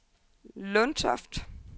Lundtoft